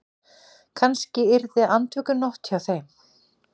Kannski yrði andvökunótt hjá þeim.